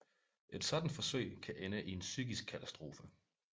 Et sådant forsøg kan ende i en psykisk katastrofe